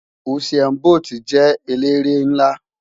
Usain Bólt jè éléré nlá